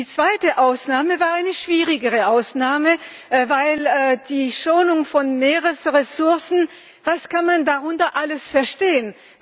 Die zweite Ausnahme war eine schwierigere Ausnahme Die Schonung von Meeresressourcen, was kann man darunter alles verstehen?